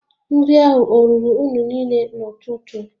Nri ahụ ọ ruru unu niile n'ụtụtụ?